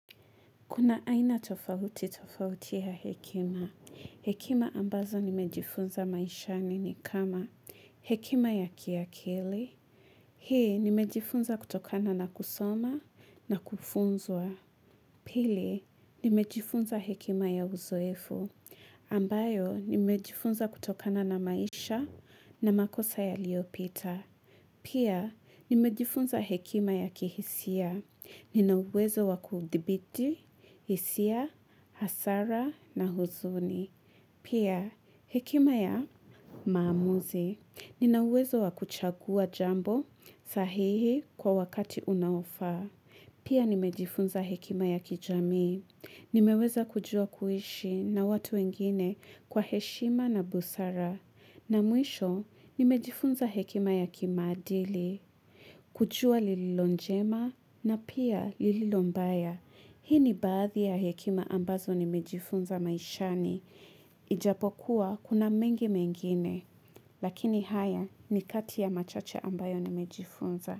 Kuna aina tofauti tofauti ya hekima. Hekima ambazo nimejifunza maishani ni kama hekima ya kiakili. Hii nimejifunza kutokana na kusoma na kufunzwa. Pili nimejifunza hekima ya uzoefu. Ambayo nimejifunza kutokana na maisha na makosa ya liopita. Pia nimejifunza hekima ya kihisia. Ninauwezo wakudhibiti, hisia, hasara na huzuni. Pia, hekima ya maamuzi. Ninauwezo wakuchagua jambo sahihi kwa wakati unaofa. Pia, nimejifunza hekima ya kijami. Nimeweza kujua kuishi na watu wengine kwa heshima na busara. Na mwisho, nimejifunza hekima ya kimadili. Kujua lililonjema na pia lililombaya. Hii ni baadhi ya hekima ambazo ni mejifunza maishani. Ijapokuwa kuna mengi mengine lakini haya ni kati ya machache ambayo ni mejifunza.